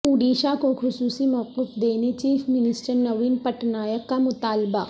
اوڈیشہ کو خصوصی موقف دینے چیف منسٹر نوین پٹنائک کا مطالبہ